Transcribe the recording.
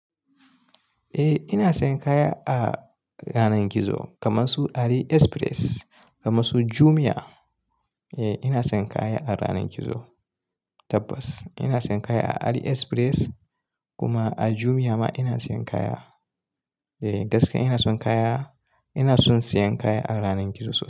Eh ina sayan kaya a yanar gizo kamar su AliExpress, kamar su Jumia. Eh ina sayan kaya a yanar gizo tabbas ina sayan kaya a AliExpress kuma a Jumia ma ina sayan kaya. Eh gaskiya ina son kaya, ina son sayan kaya a ranar gizo.